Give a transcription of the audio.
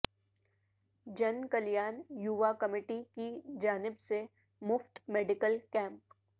جن کلیان یوا کمیٹی کی جانب سے مفت میڈیکل کیمپ